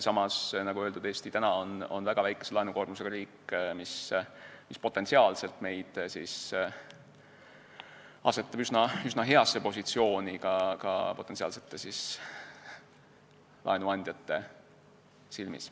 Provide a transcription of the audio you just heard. Samas, nagu öeldud, Eesti on väga väikese laenukoormusega riik, mis asetab meid üsna heasse positsiooni ka potentsiaalsete laenuandjate silmis.